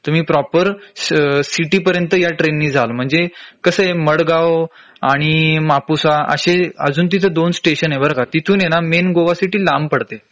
तुम्ही proper city पर्यंत या ट्रेन नी जाल म्हंजे कसंय मडगांव आणि मापुसा अशे अजून तिथं दोन स्टेशन आहे बर का तिथून हे ना मेन गोआ सिटी लांब पडते